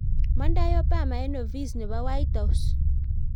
mondei Obama eng ofis nebo white house